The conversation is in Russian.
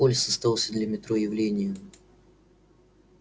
полис оставался для метро явлением